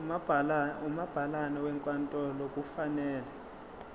umabhalane wenkantolo kufanele